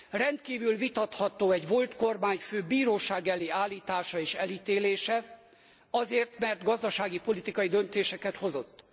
Rendkívül vitatható egy volt kormányfő bíróság elé állítása és elítélése azért, mert gazdasági, politikai döntéseket hozott.